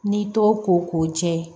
N'i t'o ko k'o jɛ